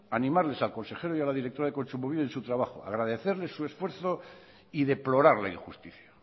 animarles al consejero y a la directora de kontsumobide en su trabajo agradecerle su esfuerzo y deplorar la injusticia